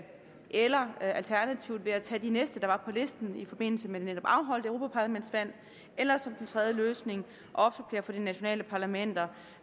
eller alternativt ved at tage de næste der var på listen i forbindelse med det netop afholdte europaparlamentsvalg eller som den tredje løsning at opsupplere fra de nationale parlamenter